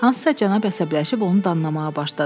Hansısa cənab əsəbləşib onu danlamağa başladı.